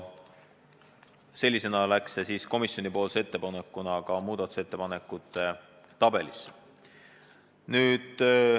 Sellisena läks see komisjonipoolse ettepanekuna ka muudatusettepanekute tabelisse.